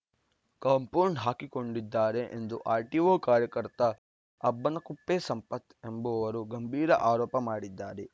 compound ಹಾಕಿಕೊಂಡಿದ್ದಾರೆ ಎಂದು RTO ಕಾರ್ಯಕರ್ತ ಅಬ್ಬನಕುಪ್ಪೆ ಸಂಪತ್‌ ಎಂಬುವರು ಗಂಭೀರ ಆರೋಪ ಮಾಡಿದ್ದಾರೆ